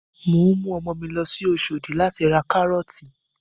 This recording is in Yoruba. Mò ń mú ọmọ mi lọ sí Oṣòdì láti ra Kárọ́ọ̀tì